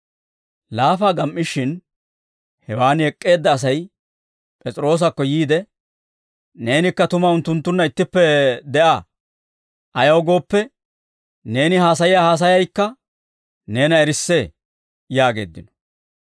Laafaa gam"ishin, hewaan ek'k'eedda Asay P'es'iroosakko yiide, «Neenikka tuma unttunttunna ittippe de'aa; ayaw gooppe, neeni haasayiyaa haasayaykka neena erissee» yaageeddino.